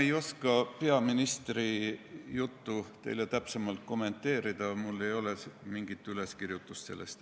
Ma ei oska peaministri juttu teile täpsemalt kommenteerida, mul ei ole sellest mingit üleskirjutust.